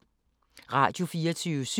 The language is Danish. Radio24syv